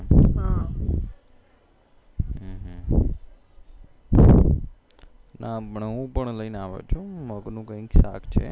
ના પણ હું પણ લઈને આવ્યો છુ મગ નું કૈક સાક છે